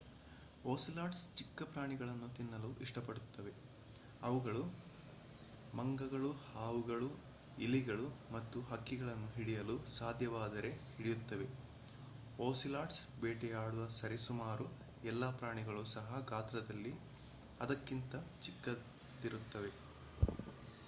ocelots ಚಿಕ್ಕ ಪ್ರಾಣಿಗಳನ್ನು ತಿನ್ನಲು ಇಷ್ಟಪಡುತ್ತವೆ ಅವುಗಳು ಮಂಗಗಳು ಹಾವುಗಳು ಇಲಿಗಳು ಮತ್ತು ಹಕ್ಕಿಗಳನ್ನು ಹಿಡಿಯಲು ಸಾಧ್ಯವಾದರೆ ಹಿಡಿಯುತ್ತವೆ ಓಸಿಲಾಟ್ಸ್ ಬೇಟೆಯಾಡುವ ಸರಿಸುಮಾರು ಎಲ್ಲಾ ಪ್ರಾಣಿಗಳು ಸಹ ಗಾತ್ರದಲ್ಲಿ ಅದಕ್ಕಿಂತ ಚಿಕ್ಕದಿರುತ್ತವೆ